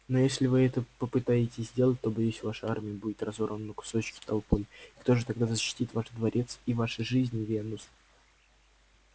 но если вы это попытаетесь сделать то боюсь ваша армия будет разорвана на кусочки толпой и кто же тогда защитит ваш дворец и ваши жизни венус